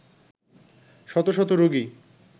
শত শত রোগী